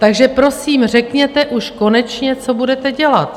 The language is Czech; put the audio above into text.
Takže prosím, řekněte už konečně, co budete dělat.